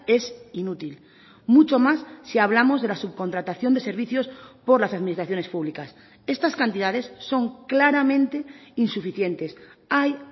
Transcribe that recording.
es inútil mucho más si hablamos de la subcontratación de servicios por las administraciones públicas estas cantidades son claramente insuficientes hay